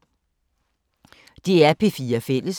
DR P4 Fælles